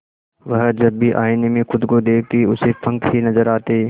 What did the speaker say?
वह जब भी आईने में खुद को देखती उसे पंख ही नजर आते